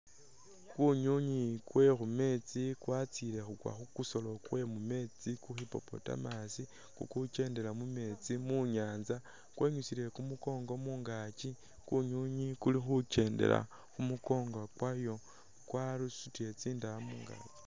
Kunywinywi kwe khu meetsi kwatsile khukwa khu kusolo kwe mu meetsi ku hippopotamus, khukendela mu meetsi mu nyaanza kwenyusiile khu mukongo mungaaki, kunywinywi kuli khukendela khu mukongo kwayo kwasutile tsindaaya mungaaki.